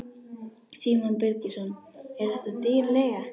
Símon Birgisson: Er þetta dýr leiga?